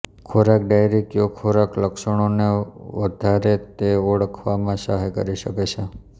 ખોરાક ડાયરી કયો ખોરાક લક્ષણોને વધારે તે ઓળખવામાં સહાય કરી શકે છે